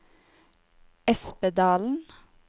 Espedalen